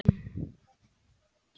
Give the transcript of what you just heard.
Júlíana, lækkaðu í græjunum.